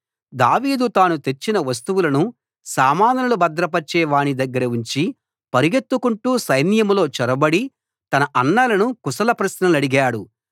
దావీదు తాను తెచ్చిన వస్తువులను సామానులు భద్రపరచే వాని దగ్గర ఉంచి పరిగెత్తుకుంటూ సైన్యంలో చొరబడి తన అన్నలను కుశల ప్రశ్నలడిగాడు